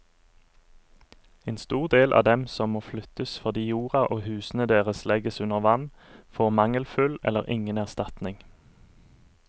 En stor del av dem som må flyttes fordi jorda og husene deres legges under vann, får mangelfull eller ingen erstatning.